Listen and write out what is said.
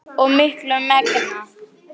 og miklu megna.